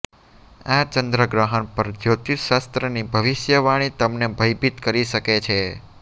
આ ચંદ્ર ગ્રહણ પર જ્યોતિષશાસ્ત્રની ભવિષ્યવાળી તમને ભયભીત કરી શકે છે